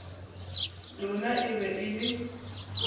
lona e be e le